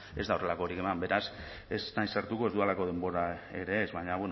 ez da horrelakorik eman beraz ez naiz sartuko ez dudalako denbora ere ez baina